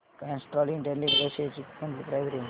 Castrol India limited shares ची monthly price range